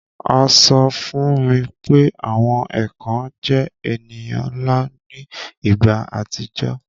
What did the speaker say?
A sọ fún mi pé àwọn èkàn jẹ èniyàn nla ni ìgbà àtijọ́